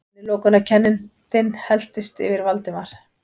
Innilokunarkenndin helltist yfir Valdimar.